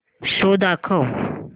show दाखव